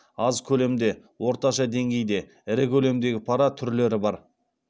аз көлемде орташа деңгейде ірі көлемдегі пара түрлері бар